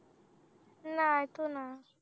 नाही तू ना